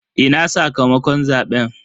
Ina sakamakon zaben?